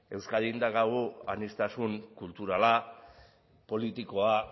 euskadin daukagun aniztasun kulturala politikoa